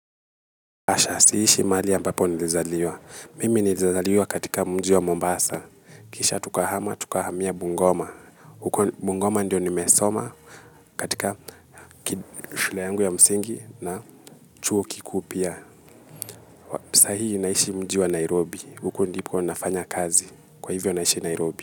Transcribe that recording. Asha siishi mahali ambapo nilizaliwa. Mimi nilizaliwa katika mji wa Mombasa. Kisha tukahama, tukahamiya Bungoma huko, Bungoma ndiyo nimesoma katika shule yangu ya msingi na chuo kikuu pia. Sa hii naishi mji wa Nairobi. Huku ndipo nafanya kazi. Kwa hivyo naishi Nairobi.